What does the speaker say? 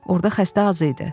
Orda xəstə az idi.